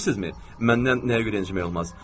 Bilirsinizmi, məndən nəyə görə incimək olmaz?